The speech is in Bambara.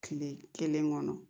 Kile kelen kɔnɔ